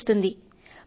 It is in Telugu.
నేర్పిస్తారు